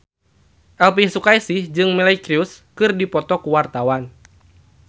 Elvi Sukaesih jeung Miley Cyrus keur dipoto ku wartawan